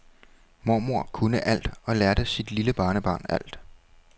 Mormor kunne alt og lærte sit lille barnebarn alt.